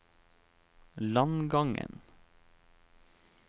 Langangen